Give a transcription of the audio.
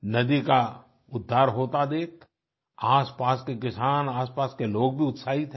नदी का उद्धार होता देख आसपास के किसान आसपास के लोग भी उत्साहित हैं